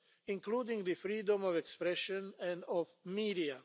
including freedom of expression and of the media.